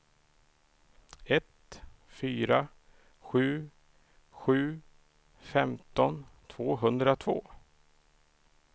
ett fyra sju sju femton tvåhundratvå